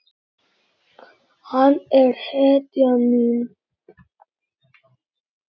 Hann er hetjan mín.